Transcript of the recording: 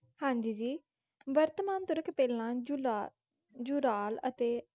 ਹਾਂਜੀ ਜੀ, ਵਰਤਮਾਨ ਤੁਰਕ ਪਹਿਲਾਂ ਯੂਰਾ~ ਯੂਰਾਲ ਅਤੇ